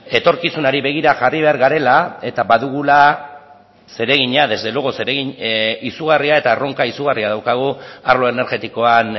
etorkizunari begira jarri behar garela eta badugula zeregina desde luego zeregin izugarria eta erronka izugarria daukagu arlo energetikoan